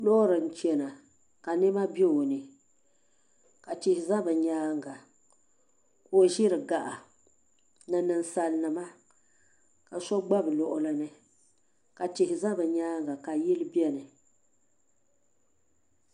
Loori n chɛna ka nɛma bɛ o ni ka tihi za bi yɛanga ka o ziri gaɣa ni ninsali ni ma ka so gba bi luɣili ni ka tihi za bi yɛanga ka yili bɛni.